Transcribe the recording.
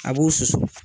A b'u susu